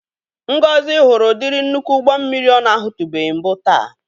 Ngozi hụrụ ụdịrị nnukwu ụgbo mmiri ọ na-ahụtụbeghi mbụ taa.